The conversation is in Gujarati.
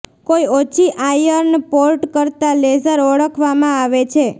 કોઈ ઓછી આયર્ન પોર્ટ કરતાં લેઝર ઓળખવામાં આવે છે